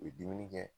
U ye dumuni kɛ